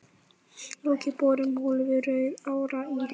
Lokið borun holu við Rauðará í